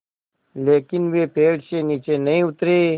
लेकिन वे पेड़ से नीचे नहीं उतरे